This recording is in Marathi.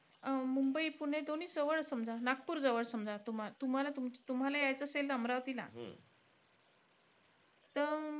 अं मुंबई पुणे दोन्ही जवळचं समजा. नागपूर जवळ समजा. तुम्हा तुम्हाल तुम्हाला यायचं असेल अमरावतीला त अं